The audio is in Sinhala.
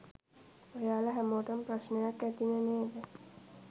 ඔයාලා හැමෝටම ප්‍රශ්නයක් ඇතිනේ නේද?